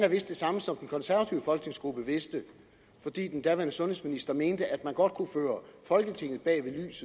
det samme som den konservative folketingsgruppe vidste fordi den daværende sundhedsminister mente at man godt kunne føre folketinget bag lyset